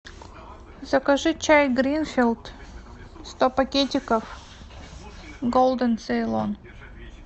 закажи чай гринфилд сто пакетиков голден цейлон